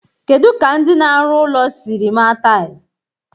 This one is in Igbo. Kedu ka ndị na-arụ ụlọ siri maa taịlị?